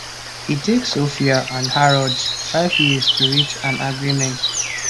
e take sophia and harrods five years to reach an agreement